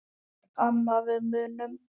Amma við munum.